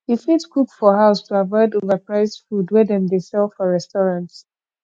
you fit cook for house to avoid overpriced food wey dem dey sell for restaurant